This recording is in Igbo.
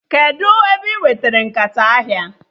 Kedụ ebe ị nweta nkata ahịa?